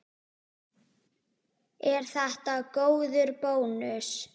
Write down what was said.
Er þetta góður bónus?